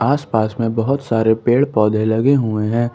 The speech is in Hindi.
आसपास में बहुत सारे पेड़ पौधे लगे हुए हैं।